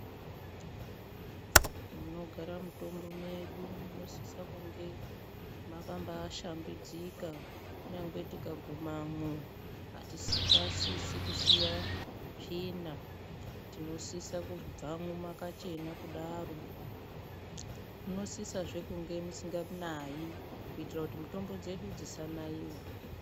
Munogara mutombo medu munosisa kunge makambashambidzika kunyange tikagumemwo atifasini kusiya tsvina tinofana kubvemwo mwakachena kudaro munosisazve kunge musinganayi kuitira kuti mutombo dzedu dzisanaiwa .